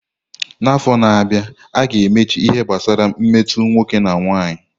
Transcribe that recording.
N'afọ na-abịa, a ga-emechi ihe gbasara mmetọ nwoke na nwanyị.